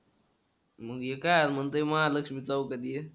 मग हे काय म्हणतोय महालक्ष्मी चौकात ये.